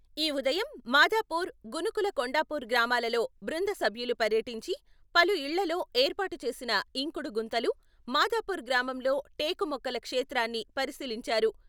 ఈ ఉదయం మాదాపూర్, గునుకుల కొండాపూర్ గ్రామాలలో బృంద సభ్యులు పర్యటించి, పలు ఇళ్లల్లో ఏర్పాటు చేసిన ఇంకుడు గుంతలు, మాదాపూర్ గ్రామంలో టేకు మొక్కల క్షేత్రాన్ని పరిశీలించారు.